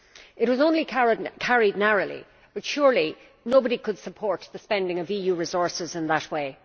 It was only carried narrowly, but surely nobody could support the spending of EU resources in that way.